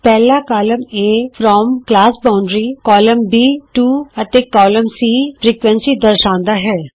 ਪਹਿਲਾ column A from ਵਰਗ ਸੀਮਾ ਕਾਲਮ b ਟੋ ਅਤੇ ਕਾਲਮ c ਫ੍ਰੀਕੁਐਂਸੀ ਦਰਸਾਂਦਾ ਹੈ